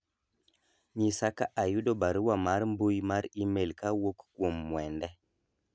nyisa ka ayudo barua mar mbui mar email kawuok kuom mwende